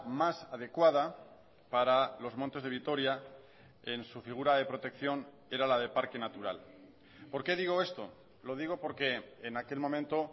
más adecuada para los montes de vitoria en su figura de protección era la de parque natural por qué digo esto lo digo porque en aquel momento